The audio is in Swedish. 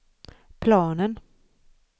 planen